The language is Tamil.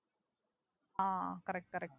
ah Correct correct